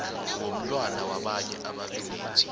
womntwana wabanye ababelethi